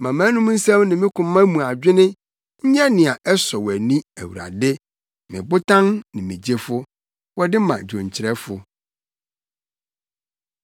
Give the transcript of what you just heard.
Ma mʼanom nsɛm ne me koma mu adwene nyɛ nea ɛsɔ wʼani, Awurade me Botan ne me Gyefo. Wɔde ma dwonkyerɛfo.